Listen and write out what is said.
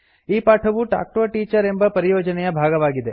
ಈ ಪಾಠವು talk to a teacher ಎಂಬ ಪರಿಯೋಜನೆಯ ಭಾಗವಾಗಿದೆ